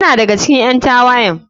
Yana daga cikin ƴan tawayen.